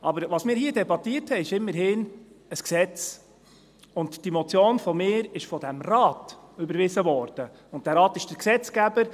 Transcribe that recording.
Aber was wir hier debattiert haben, ist immerhin ein Gesetz, und diese Motion von mir wurde von diesem Rat überwiesen, und dieser Rat ist der Gesetzgeber.